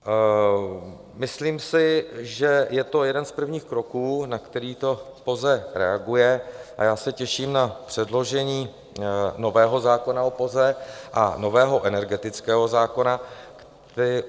Myslím si, že je to jeden z prvních kroků, na který to POZE reaguje, a já se těším na předložení nového zákona o POZE a nového energetického zákona.